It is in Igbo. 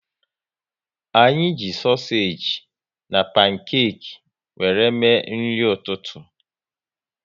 Anyị ji sosage na pankeki wéré mee nri ụtụtụ